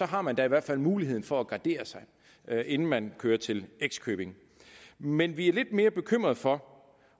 har man da i hvert fald muligheden for at gardere sig inden man kører til x købing men vi er lidt mere bekymrede for